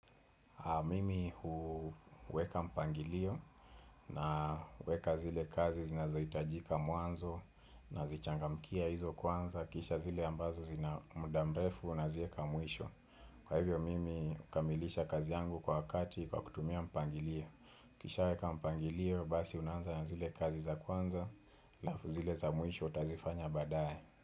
Mimi huweka mpangilio na kuweka zile kazi zinazo itajika mwanzo na zichangamkia hizo kwanza. Kisha zile ambazo zina muda mrefu nazieka mwisho. Kwa hivyo, mimi hukamilisha kazi yangu kwa wakati kwa kutumia mpangilio. Nikisha weka mpangilio, basi unanza na zile kazi za kwanza. Alafu zile za mwisho utazifanya badae.